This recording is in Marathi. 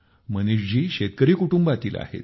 मनीषजी शेतकरी कुटुंबातील आहेत